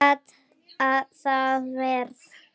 Verra gat það verið.